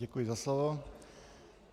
Děkuji za slovo.